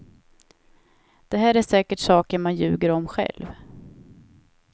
Det här är säkert saker man ljuger om själv.